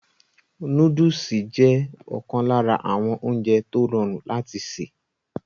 Nóódùsì jẹ́ ọ̀kan lára àwọn oúnjẹ tó rọrùn láti sè